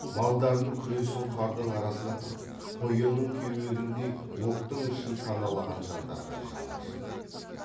малдарын күресін қардың арасына тығып қоянның кеуегіндей оптың ішін паналаған жандарға жаны ашыды